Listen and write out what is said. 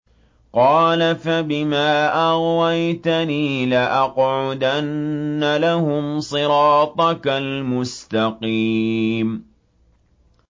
قَالَ فَبِمَا أَغْوَيْتَنِي لَأَقْعُدَنَّ لَهُمْ صِرَاطَكَ الْمُسْتَقِيمَ